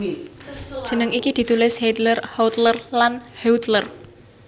Jeneng iki ditulis Hiedler Huetler lan Huettler